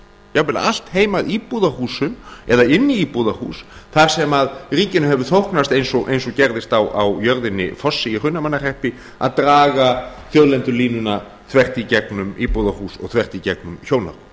jafnvel allt heim að íbúðarhúsum eða inn í íbúðarhús þar sem ríkinu hefur þóknast eins og gerðist á jörðinni fossi í hrunamannahreppi að draga þjóðlendulínuna þvert í gegnum íbúðarhús og þvert í gegnum hjónarúmið